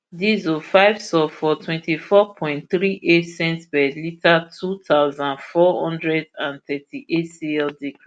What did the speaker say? diesel five sulphur twentyfour point three eight cents per litre two thousand, four hundred and thirty-eight cl decrease